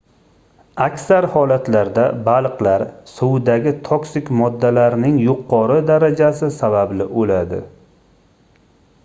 aksar holatlarda baliqlar suvdagi toksik moddalarning yuqori darajasi sababli oʻladi